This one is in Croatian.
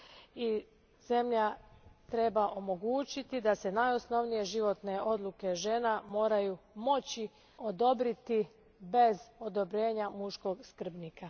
i zemlja treba omogućiti da se najosnovnije životne odluke žena moraju moći odobriti bez odobrenja muškog skrbnika.